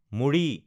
মুড়ি